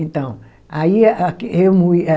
Então, aí a, que eu moía